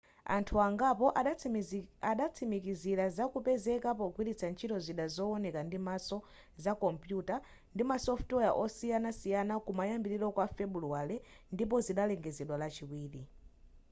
anthu angapo adatsimikizila za kupezeka pogwilitsa ntchito zida zowoneka ndimaso za kompuyuta ndi ma software osiyanasiyana kumayambiliro kwa febuluwale ndipo zidalengezedwa lachiwiri